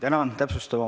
Tänan!